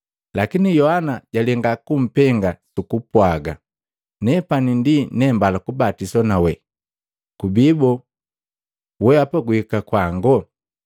Lakini Yohana jalenga kumpenga, sukupwaga, “Nepani ndi nembala kubatiswa nawe, kubi boo, wehapa guhika kwango?”